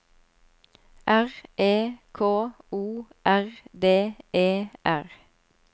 R E K O R D E R